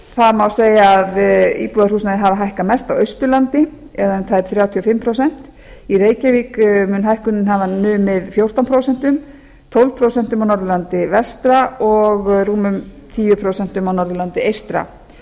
það má segja að íbúðarhúsnæði hafi hækkað mest á austurlandi eða um tæp þrjátíu og fimm prósent í reykjavík mun hækkunin hafa numið fjórtán prósent tólf prósent á norðurlandi vestra og rúmum tíu prósent á norðurlandi eystra